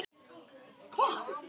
Hvaða starfsmenn eru þetta?